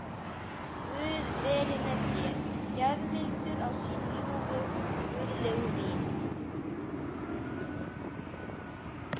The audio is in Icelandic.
Guð veri með þér, gjafmildur á sín ljúfu, guðlegu vín.